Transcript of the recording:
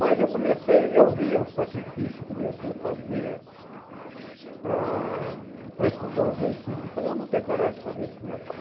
Mas eu comecei, eu vi o sacrifício que o meu tio fazia para para estudar os dois filhos e falei, eu não tenho coragem de fazer isso com meu pai.